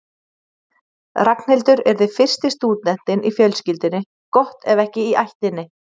Ragnhildur yrði fyrsti stúdentinn í fjölskyldunni, gott ef ekki í ættinni.